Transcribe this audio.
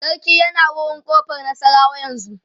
sarki yana wurin ƙofar nasarawa yanzun